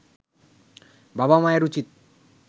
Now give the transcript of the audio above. বাবা মায়ের উচিত